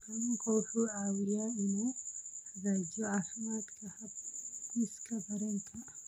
Kalluunku wuxuu caawiyaa inuu hagaajiyo caafimaadka habdhiska dareenka.